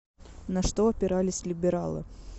на что опирались либералы